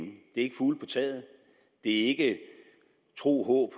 det er ikke fugle på taget det er ikke tro håb og